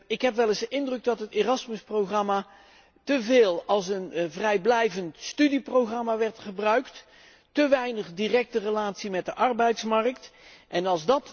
Ik heb wel eens de indruk dat het Erasmus programma teveel als een vrijblijvend studieprogramma werd gebruikt en te weinig directe relatie met de arbeidsmarkt had.